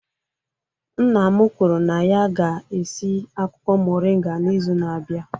Nna m kwuru na ya ga-esi akwụkwọ moringa n'izu na-abịa.